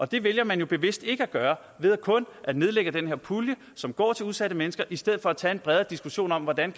det vælger man jo bevidst ikke at gøre ved kun at nedlægge den her pulje som går til udsatte mennesker i stedet for at tage en bredere diskussion om hvordan